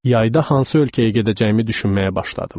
Yayda hansı ölkəyə gedəcəyimi düşünməyə başladım.